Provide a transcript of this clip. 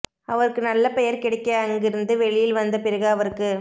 அவருக்கு நல்ல பெயர் கிடைக்க அங்கிருந்து வெளியில் வந்த பிறகு அவருக்கு